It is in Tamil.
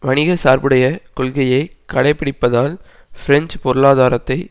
வணிக சார்பு உடைய கொள்கையை கடைப்பிடிப்பதால் பிரெஞ்சு பொருளாதாரத்தை